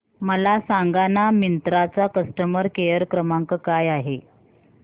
मला सांगाना मिंत्रा चा कस्टमर केअर क्रमांक काय आहे